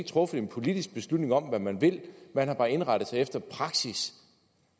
truffet en politisk beslutning om hvad man vil man har bare indrettet sig efter praksis